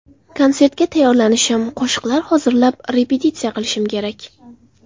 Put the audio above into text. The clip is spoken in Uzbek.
Konsertga tayyorlanishim, qo‘shiqlar hozirlab, repetitsiya qilishim kerak.